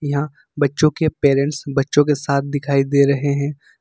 यहां बच्चों के पैरेंट्स बच्चों के साथ दिखाई दे रहे हैं।